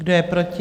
Kdo je proti?